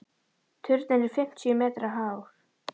Turninn er fimmtíu metra hár.